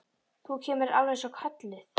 Þú kemur alveg eins og kölluð!